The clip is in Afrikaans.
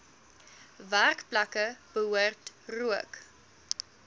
werkplekke behoort rook